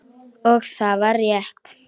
Og það var rétt.